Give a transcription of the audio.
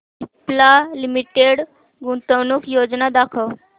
Cipla limited गुंतवणूक योजना दाखव